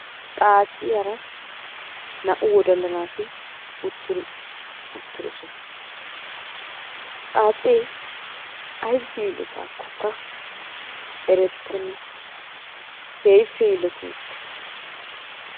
Xaacciyaara naa"u wodalla naati uttiddosona, Xaacce aybissi yiilotakkokka erettenna keehippe yiilloti uttiis.